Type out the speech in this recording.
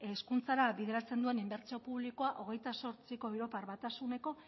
hezkuntzara bideratzen duen inbertsio publikoa hogeita zortzi europar batasuneko